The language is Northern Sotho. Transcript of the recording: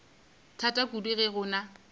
thata kudu ge go na